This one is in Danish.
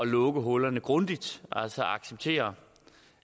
lukke hullerne grundigt altså til at acceptere